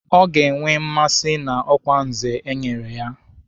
Ọ ga-enwe mmasị na ọkwa Nze e nyere ya